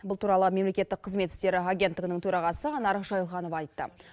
бұл туралы мемлекеттік қызмет істері агенттігінің төрағасы анар жайылғанова айтты